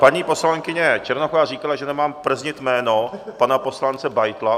Paní poslankyně Černochová říkala, že nemám prznit jméno pana poslance Beitla.